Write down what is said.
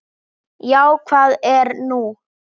Já, hvað er nú?